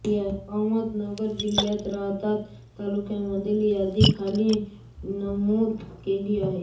अहमदनगर जिल्ह्यातील राहाता तालुक्यामधील यादी खाली नमुद केली आहे